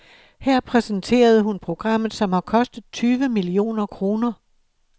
Her præsenterede hun programmet, som har kostet tyve millioner kroner.